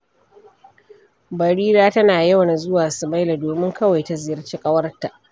Barira tana yawan zuwa Sumaila domin kawai ta ziyarci ƙawarta.